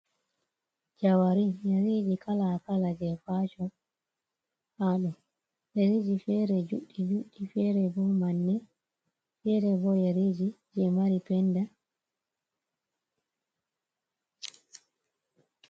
Jawarin Yeriji Kala Kala je Facon, haɗo Yeriji Fere Judɗi Judɗ, Fere bo Manne, Fere bo Yariji je Mari Penda.